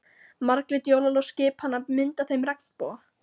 Marglit jólaljós skipanna mynda þeim regnboga.